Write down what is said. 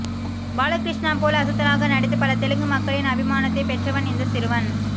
பாலகிருஷ்ணா போல் அசத்தலாக நடித்து பல தெலுங்கு மக்களின் அபிமானத்தை பெற்றவன் இந்த சிறுவன்